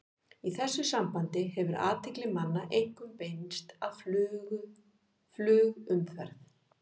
Í þessu sambandi hefur athygli manna einkum beinst að flugumferð.